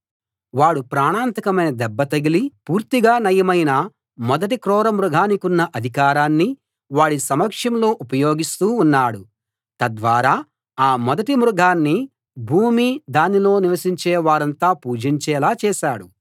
వాడు ప్రాణాంతకమైన దెబ్బ తగిలి పూర్తిగా నయమైన మొదటి క్రూర మృగానికున్న అధికారాన్ని వాడి సమక్షంలో ఉపయోగిస్తూ ఉన్నాడు తద్వారా ఆ మొదటి మృగాన్ని భూమీ దానిలో నివసించే వారంతా పూజించేలా చేశాడు